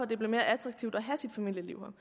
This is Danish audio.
det bliver mere attraktivt at have sit familieliv